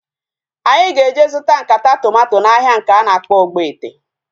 Anyị ga-eje zụta nkata tomato n'ahia nke a na-akpọ Ogbete